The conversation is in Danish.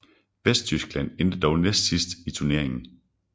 Vesttyskland endte dog næstsidst i turneringen